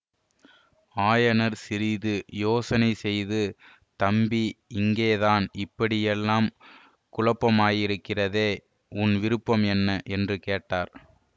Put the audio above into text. ஆயனர் சிறிது யோசனை செய்து தம்பி இங்கேதான் இப்படியெல்லாம் குழப்பமாயிருக்கிறதே உன் விருப்பம் என்ன என்று கேட்டார்